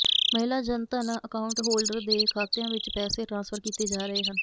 ਮਹਿਲਾ Jan Dhan account holder ਦੇ ਖਾਤਿਆਂ ਵਿੱਚ ਪੈਸੇ ਟਰਾਂਸਫਰ ਕੀਤੇ ਜਾ ਰਹੇ ਹਨ